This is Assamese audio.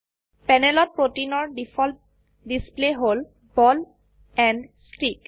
প্যানেলত প্ৰোটিনৰ ডিফল্ট ডিসপ্লে হল বল এণ্ড ষ্টিক